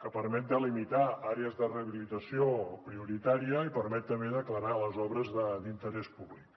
que permet delimitar àrees de rehabilitació prioritària i permet també declarar les obres d’interès públic